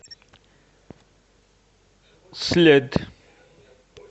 след